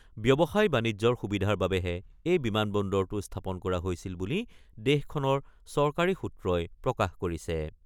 ব্যৱসায়-বাণিজ্যৰ সুবিধাৰ বাবেহে এই বিমান বন্দৰটো স্থাপন কৰা হৈছিল বুলি দেশখনৰ চৰকাৰী সূত্ৰই প্ৰকাশ কৰিছে।